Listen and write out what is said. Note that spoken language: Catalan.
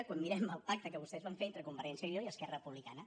quan mirem el pacte que vostès van fer entre convergència i unió i esquerra republicana